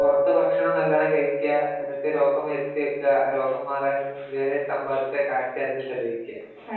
പുറത്തു ഭക്ഷണം നല്ലോണം കഴിയ്ക്കാ എന്നിട്ട് രോഗം വരുത്തി വെയ്ക്കാ രോഗം മാറാനായിട്ട് ഇത് വരെ സമ്പാദിച്ച കാശ് അധികം ചിലവഴിക്കാ